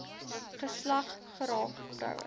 geslag geraak vroue